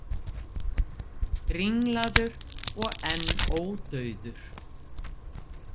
Ringlaður og enn ódauður.